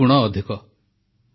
ମୋର ପ୍ରିୟ ଦେଶବାସୀଗଣ ନମସ୍କାର